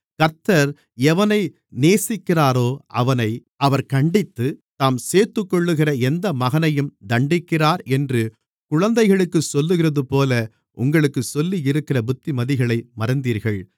கர்த்தர் எவனை நேசிக்கிறாரோ அவனை அவர் கண்டித்து தாம் சேர்த்துக்கொள்ளுகிற எந்த மகனையும் தண்டிக்கிறார் என்று குழந்தைகளுக்குச் சொல்லுகிறதுபோல உங்களுக்குச் சொல்லியிருக்கிற புத்திமதிகளை மறந்தீர்கள்